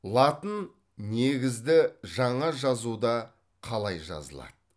латын негізді жаңа жазуда қалай жазылады